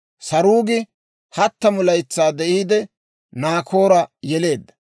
Saruugi 30 laytsaa de'iide, Naakoora yeleedda;